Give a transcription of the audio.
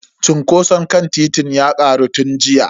Cunkoson kan titin ya karu tun jiya.